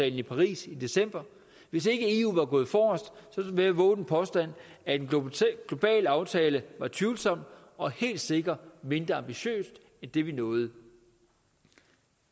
i paris i december hvis ikke eu var gået forrest vil jeg vove den påstand at en global aftale var tvivlsom og helt sikkert mindre ambitiøs end det vi nåede